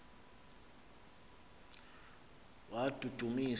wadudumisa